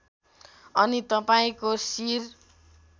अनि तपाईँको शिर